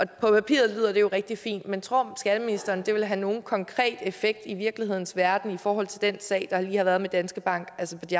på papiret lyder det jo rigtig fint men tror skatteministeren at det vil have nogen konkret effekt i virkelighedens verden i forhold til den sag der lige har været med danske bank